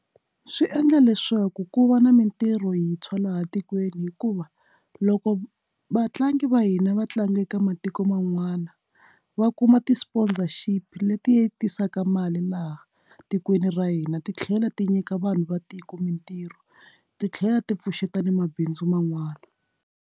Swi endla leswaku ku va na mintirho hi tshwa laha tikweni hikuva loko vatlangi va hina vatlangi eka matiko man'wana va kuma ti sponsorship leti yi tisaka mali laha tikweni ra hina titlhela ti nyika vanhu va tiko mintirho titlhela ti pfuxeta na mabindzu man'wani.